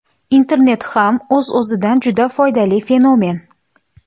Internet ham o‘z-o‘zidan juda foydali fenomen.